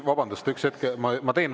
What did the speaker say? Vabandust, üks hetk!